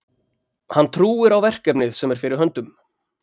Hann trúir á verkefnið sem er fyrir höndum.